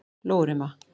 Lóurima